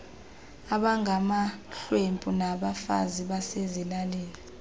abangamahlwempu nabafazi basezilalini